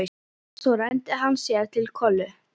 Svo renndi hann sér til Kollu.